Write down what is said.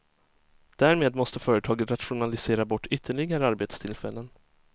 Därmed måste företaget rationalisera bort ytterligare arbetstillfällen.